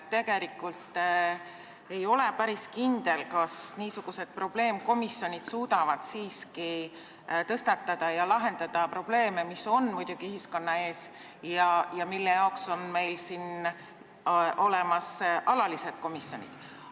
Tegelikult ei ole päris kindel, kas niisugused probleemkomisjonid suudavad siiski tõstatada ja lahendada probleeme, mis ühiskonna ees on ja milleks meil on siin olemas alalised komisjonid.